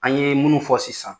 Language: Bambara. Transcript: An ye minnu fɔ sisan